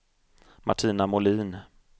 Martina Molin